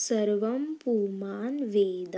सर्वं पुमान् वेद